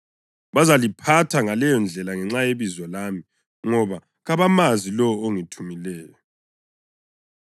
Bazaliphatha ngaleyondlela ngenxa yebizo lami, ngoba kabamazi lowo ongithumileyo.